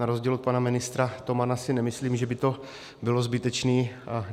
Na rozdíl od pana ministra Tomana si nemyslím, že by to bylo zbytečné.